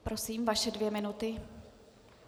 Prosím, vaše dvě minuty.